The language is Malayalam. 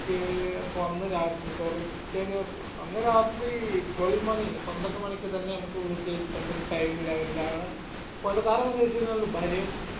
പിറ്റെ ഇപ്പൊ അന്ന് രാത്രി sorry പിറ്റെ ദിവസ് അന്ന് രാത്രി twelve മണി പന്ത്രണ്ടുമണിക്ക് തന്നെ വീട്ടിൽ ഏതാണ്ടൊരു time level ഇൽ ആണ് ഇപ്പൊ അത് കാരണം എന്താന്ന് വെച്ചകഴിഞ്ഞാൽ ഭാര്യയും